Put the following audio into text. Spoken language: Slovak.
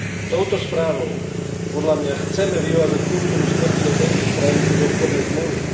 Touto správou, podľa mňa, chceme vyvážať kultúru smrti do tretích krajín cez obchodné zmluvy.